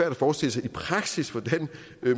at forestille sig i praksis hvordan